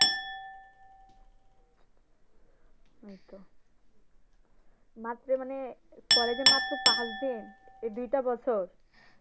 ঐতো মাত্রে মানে কলেজে মাত্র পাশ দিয়ে এই দুইটা বছর